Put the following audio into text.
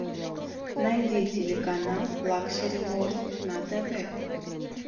найди телеканал лакшери ворлд на тв